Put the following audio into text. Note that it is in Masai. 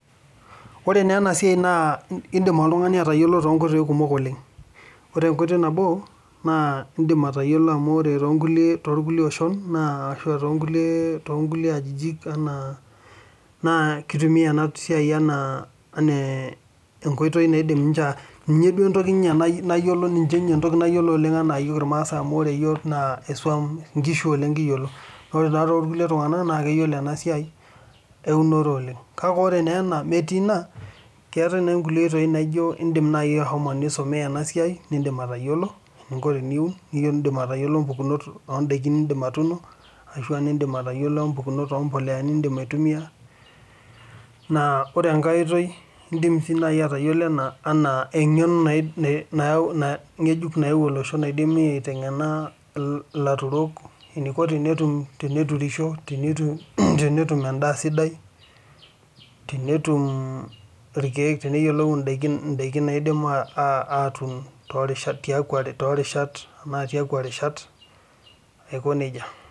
This work one can know in different ways. One way is that you can know because in other communities they use this as one of the things they know like us maasai we know how to keep cows and other people they know this farming so much but this one you can study it and know different crops that you can grow and also know different types of manure you can use and another way is you can know this as a knowledge that is new that has come where farmers are taught how they can plant good food and know good pesticide and foods to plant in different seasons.